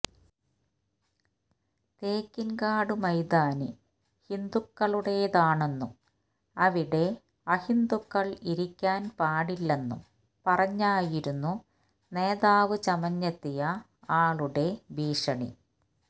തേക്കിൻകാട് മൈതാനി ഹിന്ദുക്കളുടേതാണെന്നും അവിടെ അഹിന്ദുക്കൾ ഇരിക്കാൻപാടില്ലെന്നും പറഞ്ഞായിരുന്നു നേതാവ് ചമഞ്ഞെത്തിയ ആളുടെ ഭീഷണി